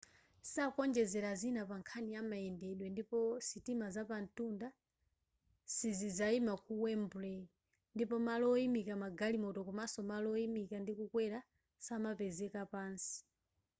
sakuonjezera zina pankhani ya mayendedwe ndipo sitima zapamtunda sizizayima ku wembley ndipo malo oyimika magalimoto komaso malo oyimika ndi kukwera samapezeka pansi